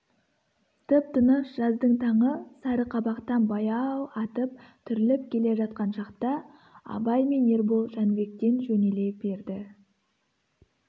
тып-тыныш жаздың таңы сары қабақтан баяу атып түріліп келе жатқан шақта абай мен ербол жәнібектен жөнеле берді